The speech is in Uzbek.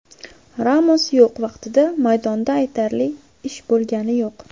Ramos yo‘q vaqtida maydonda aytarli ish bo‘lgani yo‘q.